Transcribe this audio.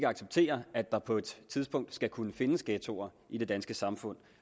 acceptere at der på et tidspunkt skal kunne findes ghettoer i det danske samfund